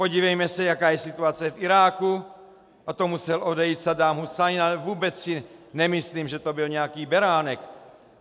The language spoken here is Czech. Podívejme se, jaká je situace v Iráku, a to musel odejít Saddám Husajn, ale vůbec si nemyslím, že to byl nějaký beránek.